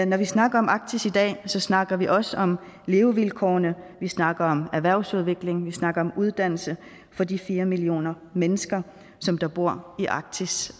når vi snakker om arktis i dag snakker vi også om levevilkårene vi snakker om erhvervsudviklingen vi snakker om uddannelse for de fire millioner mennesker der bor i arktis